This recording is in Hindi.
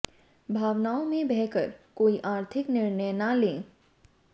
भावनाओं में बह कर कोई आर्थिक निर्णय ना लें